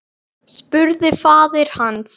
spurði faðir hans.